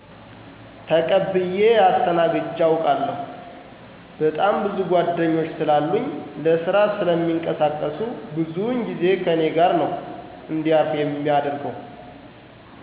ተቀብየ አስተናግጄ አውቃለሁ። በጣም ብዙ ጓድኞች ስላሉኝ ለስራ ስለሚንቀሳቀሱ ብዙውን ጊዜ ከኔ ጋር ነው እንዲያርፉ የማደርገው።